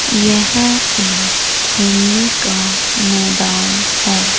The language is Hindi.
यह एक खेलने का मैदान है।